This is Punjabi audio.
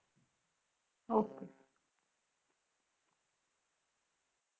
Okay